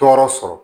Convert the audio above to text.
Tɔɔrɔ sɔrɔ